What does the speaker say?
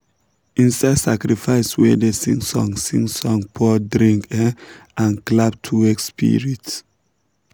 inside sacrifice we dey sing song sing song pour drink um and clap to wake spirits.